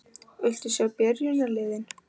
Viltu sjá byrjunarliðin?